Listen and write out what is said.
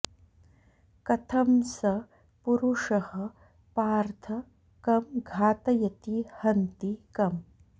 कथं स पुरुषः पार्थ कं घातयति हन्ति कम्